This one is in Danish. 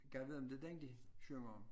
Gad vide om det er den de synger om